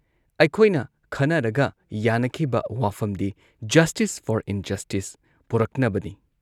ꯑꯩꯈꯣꯏꯅ ꯈꯟꯅꯔꯒ ꯌꯥꯟꯅꯈꯤꯕ ꯋꯥꯐꯝꯗꯤ ꯖꯁꯇꯤꯁ ꯐꯣꯔ ꯏꯟꯖꯁꯇꯤꯁ, ꯄꯣꯔꯛꯅꯕꯅꯤ ꯫